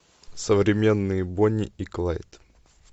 современные бонни и клайд